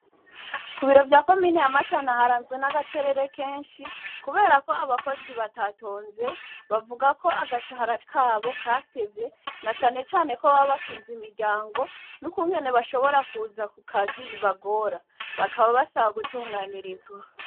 Kubiro vya komine ya matana yaranzwe nagacerere kenshi, kuberako abakozi batatonze bavugako agashara kabo katevye nacane cane ko babab batunze imiryango, nukugene bashobora kuza kukazi bibagora ,bakaba basaba gutunganirizwa.